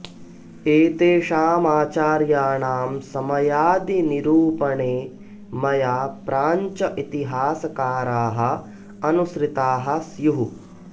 एतेषामाचार्याणां समयादि निरूपणे मया प्राञ्च इतिहासकाराः अनुसृताः स्युः